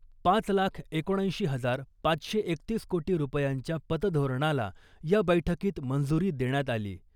पाच लाख एकोणऐंशी हजार पाचशे एकतीस कोटी रुपयांच्या पतधोरणाला या बैठकीत मंजुरी देण्यात आली .